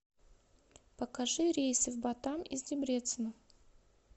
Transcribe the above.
покажи рейсы в батам из дебрецена